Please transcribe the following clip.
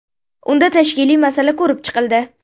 Unda tashkiliy masala ko‘rib chiqildi.